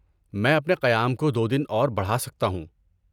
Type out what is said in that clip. میں اپنے قیام کو دو دن اور بڑھا سکتا ہوں۔